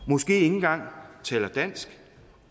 måske ikke engang taler dansk